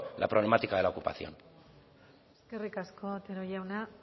la problemática de la ocupación eskerrik asko otero jauna